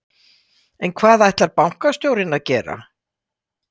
En hvað ætlar bankastjórinn að gera?